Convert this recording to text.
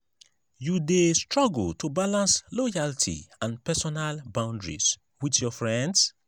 you dey struggle to balance loyalty and personal boundaries with your friends?